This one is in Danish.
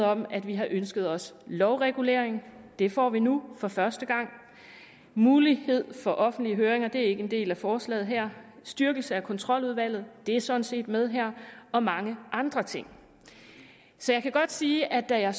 om at vi har ønsket os lovregulering det får vi nu for første gang mulighed for offentlige høringer er ikke en del af forslaget her styrkelse af kontroludvalget er sådan set med her og mange andre ting så jeg kan godt sige at da